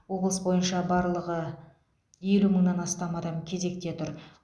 облыс бойынша барлығы елу мыңнан астам адам кезекте тұр